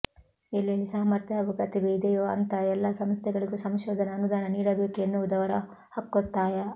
ಎಲ್ಲೆಲ್ಲಿ ಸಾಮರ್ಥ್ಯ ಹಾಗೂ ಪ್ರತಿಭೆ ಇದೆಯೋ ಅಂಥ ಎಲ್ಲ ಸಂಸ್ಥೆಗಳಿಗೂ ಸಂಶೋಧನಾ ಅನುದಾನ ನೀಡಬೇಕು ಎನ್ನುವುದು ಅವರ ಹಕ್ಕೊತ್ತಾಯ